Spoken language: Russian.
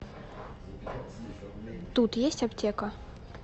тут есть аптека